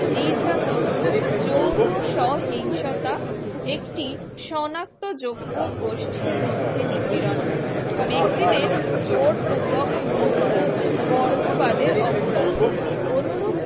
নির্যাতন যৌন সহিংসতা একটি শনাক্ত যোগ্য গোষ্ঠীর মধ্যে নিপীড়ন ব্যক্তিদের জোরপূর্বক গুম করা বর্ণবাদের অপরাধ অনুরোধ